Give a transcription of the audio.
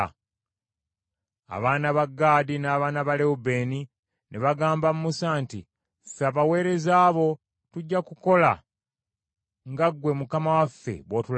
Abaana ba Gaadi n’abaana ba Lewubeeni ne bagamba Musa nti, “Ffe abaweereza bo tujja kukola nga ggwe mukama waffe bw’otulagidde.